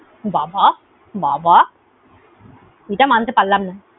বাবাঃ বাবাঃ, এটা মানতে পারলাম না।